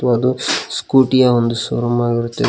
ಒಂದು ಸ್ಕೂಟಿ ಯ ಒಂದು ಶೋರೂಮ್ ಆಗಿರುತ್ತದೆ.